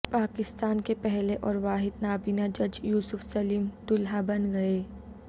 پاکستان کے پہلے اور واحد نابینا جج یوسف سلیم دولہا بن گئے